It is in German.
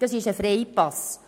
das ist ein Freipass.